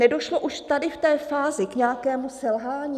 Nedošlo už tady v té fázi k nějakému selhání?